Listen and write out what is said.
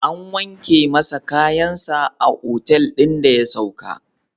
An wanke masa kayansa a otal ɗin da ya sauka.